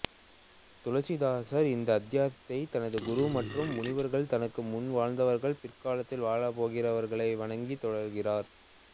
துளசிதாசர் இந்த அத்தியாயத்தை தனது குரு மற்றும் முனிவர்கள் தனக்கு முன் வாழ்ந்தவர்கள் பிற்காலத்தில் வாழப்போகிறவர்களை வணங்கி தொடங்குகிறார்